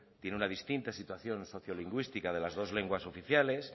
tiene una distinta situación sociolingüística de las dos lenguas oficiales